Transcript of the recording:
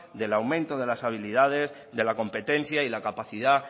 del aumento de la estabilidad de la competencia y la capacidad